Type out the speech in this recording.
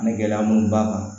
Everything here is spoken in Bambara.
Ni gɛlɛya mun b'a kan